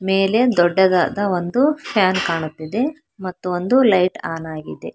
ಮೇಲೆ ದೊಡ್ಡದಾದ ಒಂದು ಫ್ಯಾನ್ ಕಾಣುತ್ತಿದೆ ಮತ್ತು ಒಂದು ಲೈಟ್ ಆನ್ ಆಗಿದೆ.